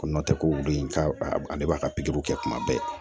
Ko nɔ tɛ ko wuli ka ale b'a ka pikiriw kɛ kuma bɛɛ